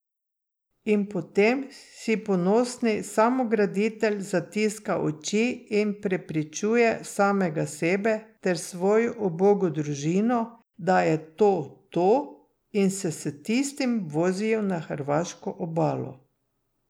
In potem si ponosni samograditelj zatiska oči in prepričuje samega sebe ter svojo ubogo družino, da je to to, in se s tistim vozijo na hrvaško obalo.